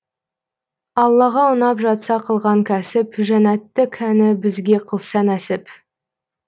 аллаға ұнап жатса қылған кәсіп жәннәтты кәні бізге қылса нәсіп